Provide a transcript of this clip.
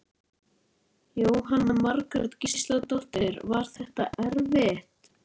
Jóhanna Margrét Gísladóttir: Var þetta erfitt?